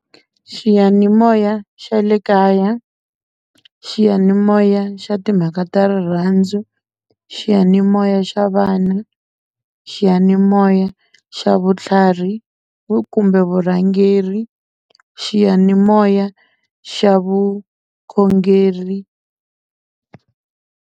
Xiyanimoya xa le kaya xiyanimoya xa timhaka ta rirhandzu xiyanimoya xa vana xiyanimoya moya xa vutlhari kumbe vurhangeri xiyanimoya xa vukhongeri.